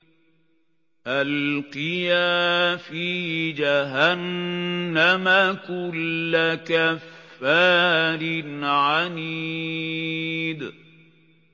أَلْقِيَا فِي جَهَنَّمَ كُلَّ كَفَّارٍ عَنِيدٍ